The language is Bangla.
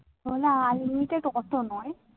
unlimited অতো নই